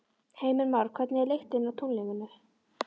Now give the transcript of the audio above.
Heimir Már: Hvernig er lyktin á tunglinu?